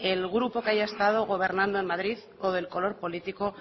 el grupo que haya estado gobernando en madrid o del color político